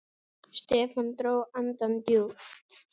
Stefán dró andann djúpt.